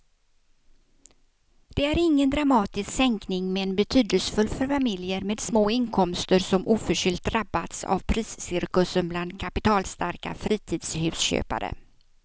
Det är ingen dramatisk sänkning men betydelsefull för familjer med små inkomster som oförskyllt drabbats av priscirkusen bland kapitalstarka fritidshusköpare.